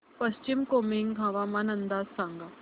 पश्चिम कामेंग हवामान अंदाज सांगा